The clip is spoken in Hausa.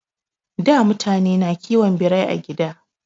Da mutane na kiwon Birai a gida